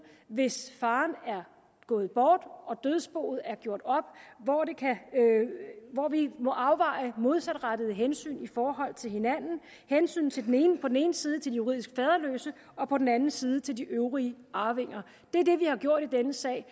hvis faren er gået bort og dødsboet er gjort op hvor vi må afveje modsatrettede hensyn i forhold til hinanden hensynet på den ene side til de juridisk faderløse og på den anden side til de øvrige arvinger det er det vi har gjort i denne sag